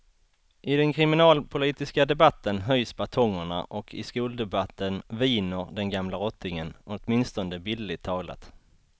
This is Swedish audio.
I den kriminalpolitiska debatten höjs batongerna och i skoldebatten viner den gamla rottingen, åtminstone bildligt talat.